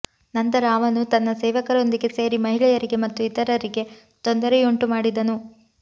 ನಂತರ ಅವನು ತನ್ನ ಸೇವಕರೊಂದಿಗೆ ಸೇರಿ ಮಹಿಳೆಯರಿಗೆ ಮತ್ತು ಇತರರಿಗೆ ತೊಂದರೆಯುಂಟು ಮಾಡಿದನು